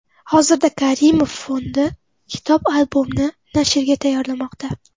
Hozirda Karimov fondi kitob-albomni nashrga tayyorlamoqda.